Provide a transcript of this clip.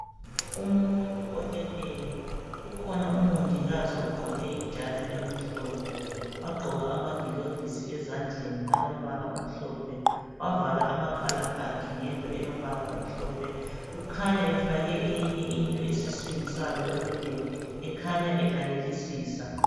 Umuntu oleleyo, kukhona umongikazi ogqoke ijazi elimhlophe, wagqoka amagilovisi ezandleni alombala omhlophe. Wavala amakhala akhe ngento elombala omhlophe. Ukhanya efake eyinye into esiswini salo oleleyo ekhanya elalelisisa.